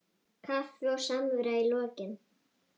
Kaffi og samvera í lokin.